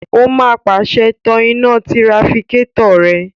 Ó máa pàṣẹ, "tan iná tirafikétọ̀ rẹ!"